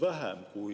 Aga mu küsimus on see.